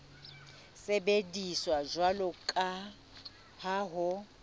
sebediswa jwalo ka ha ho